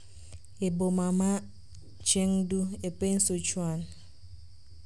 e boma ma Chengdu, e piny Sichuan.